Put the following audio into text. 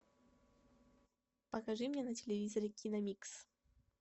покажи мне на телевизоре киномикс